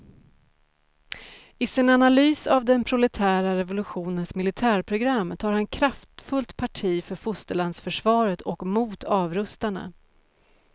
I sin analys av den proletära revolutionens militärprogram tar han kraftfullt parti för fosterlandsförsvaret och mot avrustarna.